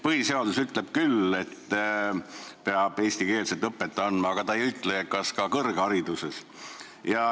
Põhiseadus ütleb küll, et peab eestikeelset õpet andma, aga ei ütle, kas ka kõrghariduses.